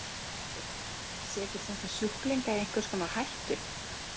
Lára Ómarsdóttir: Setur þetta sjúklinga í einhvers konar hættu?